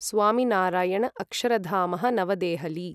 स्वामिनारायण अक्षरधामः नवदेहलि